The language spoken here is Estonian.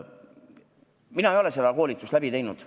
Mina ei ole seda koolitust läbi teinud.